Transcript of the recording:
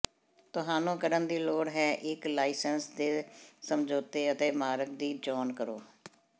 ਤੁਹਾਨੂੰ ਕਰਨ ਦੀ ਲੋੜ ਹੈ ਇੱਕ ਲਾਇਸੰਸ ਦੇ ਸਮਝੌਤੇ ਅਤੇ ਮਾਰਗ ਦੀ ਚੋਣ ਕਰੋ